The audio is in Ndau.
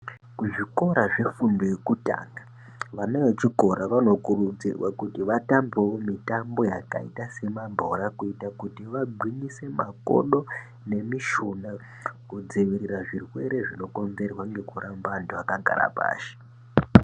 Kuzvikora zvefundo yekutanga vana vechikora vanokurudzirwawo kuti vatambewo mitambo yakaita semabhora kuita kuti vagwinyise makodo nemishuna kudzivirira zvirwere zvinokonzerwa ngekuramba antu akagara pashi.